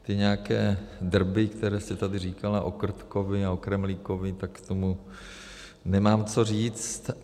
Ty nějaké drby, které jste tady říkala o Krtkovi a o Kremlíkovi, tak k tomu nemám co říct.